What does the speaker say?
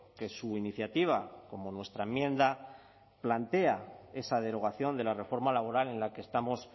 que su iniciativa como nuestra enmienda plantea esa derogación de la reforma laboral en la que estamos